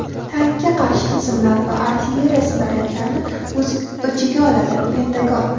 tankga qarshi tizimlar va artilleriya snaryadlarini o‘z ichiga oladi – Pentagon.